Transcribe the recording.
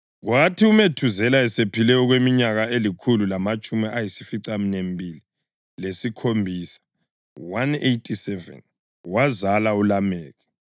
Kwathi uMethuzela esephile okweminyaka elikhulu lamatshumi ayisificaminwembili lesikhombisa (187) wazala uLameki.